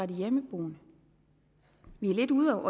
de hjemmeboende vi er lidt ude